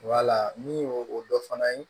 Wala ni o dɔ fana ye